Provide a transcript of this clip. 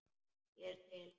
Ég er til.